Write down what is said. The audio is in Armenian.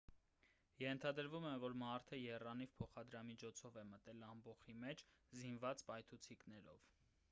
ենթադրվում է որ մարդը եռանիվ փոխադրամիջոցով է մտել ամբոխի մեջ զինված պայթուցիկներով